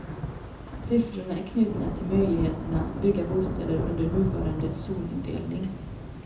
Siffrorna är knutna till möjligheterna att bygga bostäder under nuvarande zonindelning.